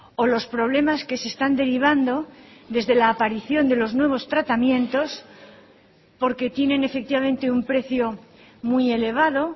o los problemas que se están derivando desde la aparición de los nuevos tratamientos porque tienen efectivamente un precio muy elevado